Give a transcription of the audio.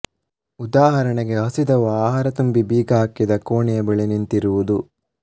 ಉದಾಹರಣೆಗೆ ಹಸಿದವ ಆಹಾರ ತುಂಬಿ ಬೀಗ ಹಾಕಿದ ಕೋಣೆಯ ಬಳಿ ನಿಂತಿರುವುದು